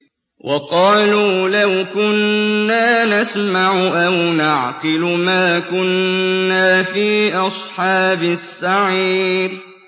وَقَالُوا لَوْ كُنَّا نَسْمَعُ أَوْ نَعْقِلُ مَا كُنَّا فِي أَصْحَابِ السَّعِيرِ